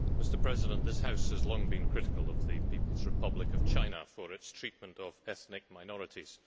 Mr President, this House has long been critical of the People's Republic of China for its treatment of ethnic minorities.